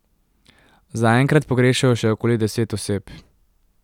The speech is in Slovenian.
Zaenkrat pogrešajo še okoli deset oseb.